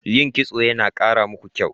Yin Kitso yana kara muku kyau.